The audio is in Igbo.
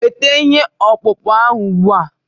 Weta ihe ọkpụkpụ ahụ ugbua!